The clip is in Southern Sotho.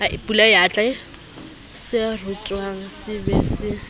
se rutwang se be se